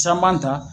Caman ta